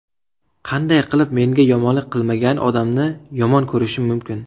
Qanday qilib menga yomonlik qilmagan odamni yomon ko‘rishim mumkin?!